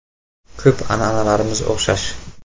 Ko‘p an’analarimiz o‘xshash”.